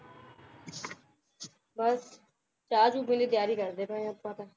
ਬੱਸ ਚਾਅ-ਚੂ ਪੀਣ ਦੀ ਤਿਆਰੀ ਕਰਦੇ ਪਏ ਆਪਾਂ ਤਾਂ